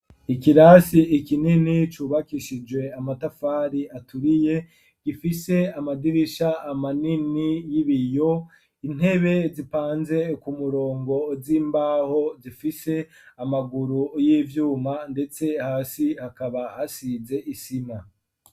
Ikirasi kinini cubakishijwe amatafari aturiye gifise amadirisha manini y'ibiyo, intebe zipanze ku murongo z'imbaho zifise amaguru y'ivyuma ndetse hasi hakaba hasize isima.